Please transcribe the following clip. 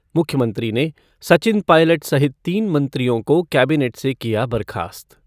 मुख्यमंत्री ने सचिन पायलट सहित तीन मंत्रियों को कैबीनेट से किया बर्खास्त